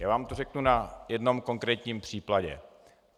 Já vám to řeknu na jednom konkrétním příkladě.